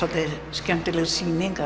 skemmtileg sýning